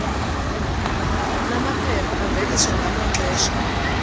namaphepha aveliswa ngamaxesha